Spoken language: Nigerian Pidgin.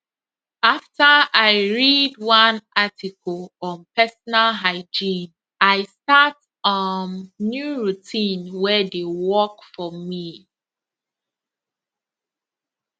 after i read one article on personal hygiene i start um new routine wey dey work for me